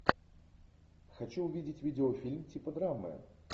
хочу увидеть видеофильм типа драмы